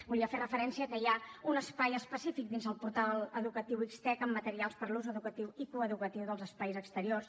volia fer referència que hi ha un espai específic dins del portal educatiu xtec en materials per a l’ús educatiu i coeducatiu dels espais exteriors